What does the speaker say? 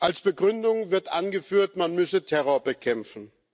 Als Begründung wird angeführt, man müsse Terror bekämpfen.